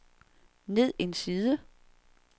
ned en side